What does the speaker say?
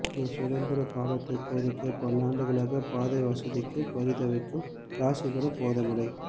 இது சுதந்திர காலத்து கோரிக்கை பல்லாண்டுகளாக பாதை வசதிக்கு பரிதவிக்கும் ராசிபுரம் போதமலை